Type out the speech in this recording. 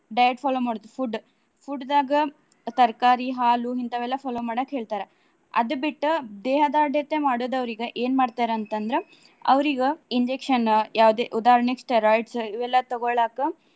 Diet follow ಮಾಡೋದು food Food ದಾಗ ತರ್ಕಾರಿ , ಹಾಲು ಹಿಂತಾವೆಲ್ಲಾ follow ಮಾಡಾಕ್ ಹೇಳ್ತಾರ. ಅದ್ ಬಿಟ್ಟ್ ದೇಹದಾಢ್ಯತೆ ಮಾಡೋದವ್ರಿಗೆ ಏನ್ ಮಾಡ್ತಾರ ಅಂತ ಅಂದ್ರ ಅವ್ರಿಗ injection ಯಾವುದೇ ಉದಾಹರ್ಣೆಗೆ steroids ಇವೆಲ್ಲಾ ತಗೊಳಾಕ.